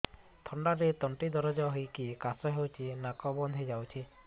ଥଣ୍ଡାରେ ତଣ୍ଟି ଦରଜ ହେଇକି କାଶ ହଉଚି ନାକ ବନ୍ଦ ହୋଇଯାଉଛି